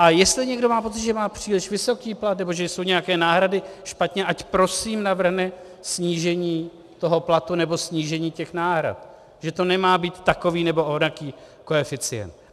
A jestli někdo má pocit, že má příliš vysoký plat nebo že jsou nějaké náhrady špatně, ať prosím navrhne snížení toho platu nebo snížení těch náhrad, že to nemá být takový nebo onaký koeficient.